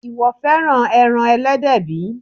Ìwọ fẹ́ràn ẹran Ẹlẹ́dẹ̀ bí?